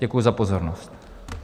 Děkuji za pozornost.